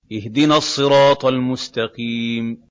اهْدِنَا الصِّرَاطَ الْمُسْتَقِيمَ